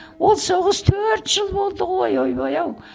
ол соғыс төрт жыл болды ғой ойбай ау